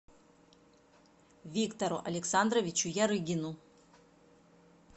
виктору александровичу ярыгину